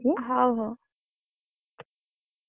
ହଉ ହଉ।